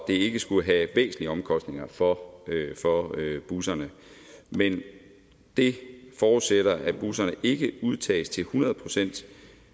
det ikke skulle have væsentlige omkostninger for busserne men det forudsætter at busserne ikke udtages til hundrede procent